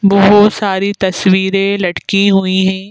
बहुत सारी तस्वीरें लटकी हुई हैं।